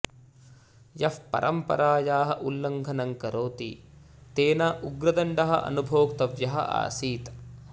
यः परम्परायाः उल्लङ्घनं करोति तेन उग्रदण्डः अनुभोक्तव्यः आसीत्